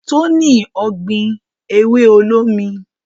Toni ogbin ewe olómi